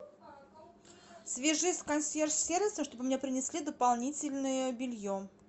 свяжись с консьерж сервисом чтобы мне принесли дополнительное белье